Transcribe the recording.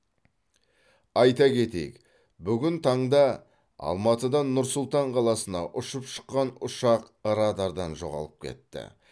айта кетейік бүгін таңда алматыдан нұр сұлтан қаласына ұшып шыққан ұшақ радардан жоғалып кетті